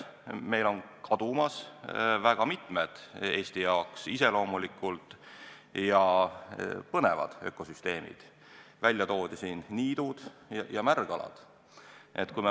Meil on kadumas väga mitmed Eesti jaoks iseloomulikud ja põnevad ökosüsteemid, täna toodi siin välja niidud ja märgalad.